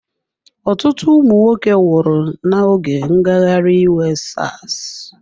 Ọtụtụ ụmụ nwoke nwụrụ n'oge ngagharị iwe Sars.